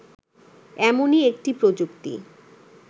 এমনই একটি প্রযুক্তি